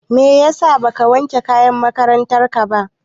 Meyasa baka wanke kayan makarantar ka ba?